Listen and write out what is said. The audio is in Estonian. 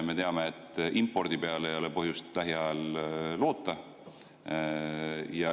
Me teame, et impordi peale ei ole põhjust lähiajal loota.